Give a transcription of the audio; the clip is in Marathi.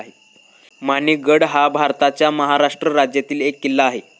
माणिक गड हा भारताच्या महाराष्ट्र राज्यातील एक किल्ला आहे